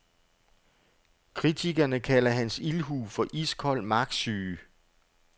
Kritikerne kalder hans ildhu for iskold magtsyge.